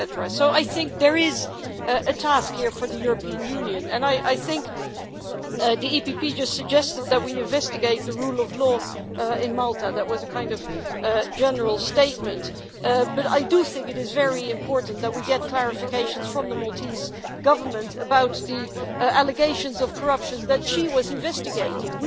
So I think there is a task here for the European Union, and I think the European People's Party just suggested that we investigate the rule of law in Malta that was a kind of general statement, but I do think it is very important that we get clarifications from the Maltese Government about the allegations of corruptions which she was investigating.